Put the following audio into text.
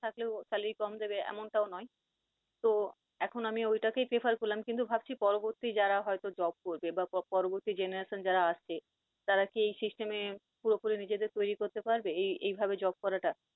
থাকলেও salary কম দেবে এমনটাও নয়। তো এখন আমি ওইটাকেই prefer করলাম, কিন্তু ভাবছি পরবর্তী যারা হয়ত job করবে বা পরবর্তী generation যারা আসছে তারা কি এই system এ পুরোপুরি নিজেদের তৈরি করতে পারবে এ~এই ভাবে job করাটা?